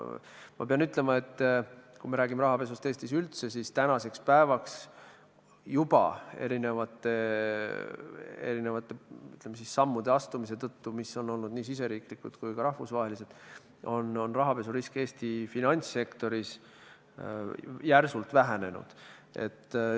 Ma pean ütlema, et kui me räägime rahapesust Eestis üldse, siis tänaseks päevaks juba eri sammude astumise tõttu, mis on olnud nii riigisisesed kui ka rahvusvahelised, on rahapesurisk Eesti finantssektoris järsult vähenenud.